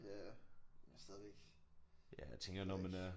Ja men stadigvæk. Det ved jeg ikke